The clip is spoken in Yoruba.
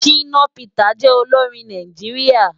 Shina Peters jè óiórin Náijiriá